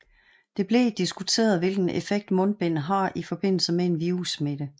Det blev diskuteret hvilken effekt mundbind har i forbindelse med en virussmitte